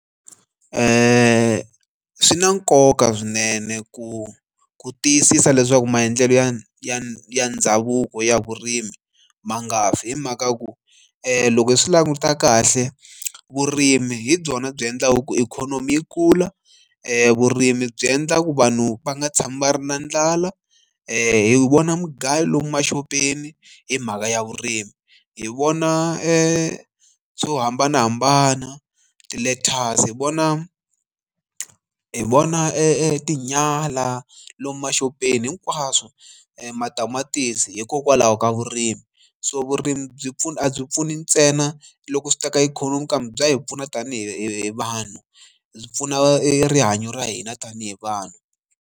Swi na nkoka swinene ku ku tiyisisa leswaku maendlelo ya ya ya ndhavuko ya vurimi ma nga fi hi mhaka ya ku loko hi swi languta kahle vurimi hi byona byi endlaku ikhonomi yi kula vurimi byi endla ku vanhu va nga tshami va ri na ndlala hi vona mugayo lomu maxopeni hi mhaka ya vurimi hi vona e to hambanahambana ti letter so hi vona hi vona e tinyala lomu maxopeni hinkwaswo matamatisi hikokwalaho ka vurimi so vurimi byi pfuna a byi pfuni ntsena loko swi ta ka ikhonomi kambe bya hi pfuna tanihi vanhu byi pfuna e rihanyo ra hina tanihi vanhu.